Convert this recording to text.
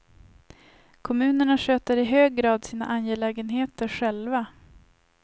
Kommunerna sköter i hög grad sina angelägenheter själva.